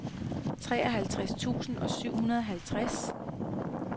treoghalvtreds tusind og syvoghalvtreds